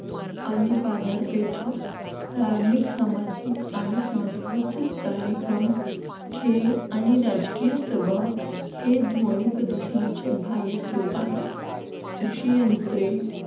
आणि बाजारपेठा धार्मिक सामाजिक आणि सांस्कृतिक कार्यक्रम खेळ आणि राजकीय सभा हे ध्वनी प्रदूषणाचे बाह्य स्त्रोत आहेत कृषी यंत्रे